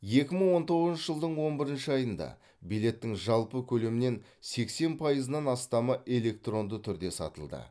екі мың он тоғызыншы жылдың он бірінші айында билеттің жалпы көлемнен сексен пайызынан астамы электронды түрде сатылды